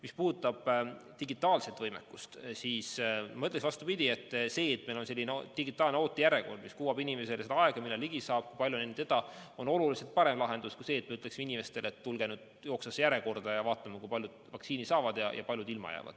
Mis puudutab digitaalset võimekust, siis ma ütleks, vastupidi, see, et meil on selline digitaalne ootejärjekord, mis kuvab inimesele aega, millal ligi saab, kui palju on enne teda, on oluliselt parem lahendus kui see, et me ütleksime inimestele, et tulge nüüd jooksvasse järjekorda ja vaatame, kui paljud vaktsiini saavad ja kui paljud ilma jäävad.